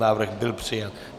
Návrh byl přijat.